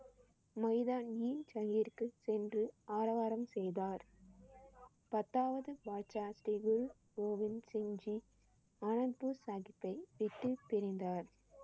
சென்று ஆரவாரம் செய்தார். பத்தாவது பாட்சா குரு கோவிந்த் சிங் ஜி அனந்த்பூர் சாஹிப்பை விட்டு பிரிந்தார்.